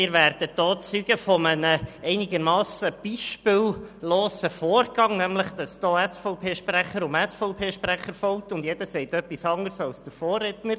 Sie werden hier Zeuge eines einigermassen beispiellosen Vorgangs, nämlich, dass SVP-Sprecher auf SVP-Sprecher folgt und jeder etwas anderes sagt als der Vorredner.